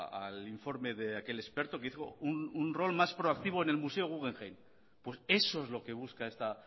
al informe de aquel experto que hizo un rol más proactivo en el museo guggenheim pues eso es lo que busca esta